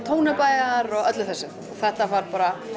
Tónabæjar og öllu þessu þetta var